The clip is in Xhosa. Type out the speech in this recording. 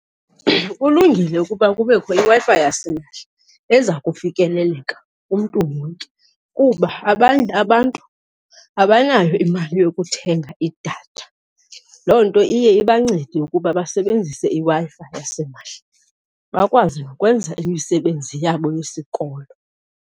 Kulungile ukuba kubekho iWi-Fi yasimahla eza kufikeleleka kumntu wonke kuba abanye abantu abanayo imali yokuthenga idatha. Loo nto iye ibancede ukuba basebenzise iWi-Fi yasimahla, bakwazi nokwenza imisebenzi yabo yesikolo.